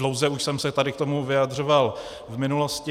Dlouze už jsem se tady k tomu vyjadřoval v minulosti.